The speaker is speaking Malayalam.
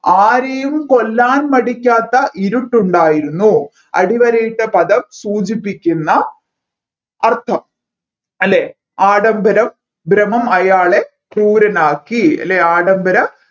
ആരെയും കൊല്ലാൻ മടിക്കാത്ത ഇരുട്ടുണ്ടായിരുന്നു അടിവരയിട്ട പദം സൂചിപ്പിക്കുന്ന അർഥം അല്ലെ ആഡംബരം ഭ്രമം അയാളെ ക്രൂരനാക്കി അല്ലെ ആഡംബര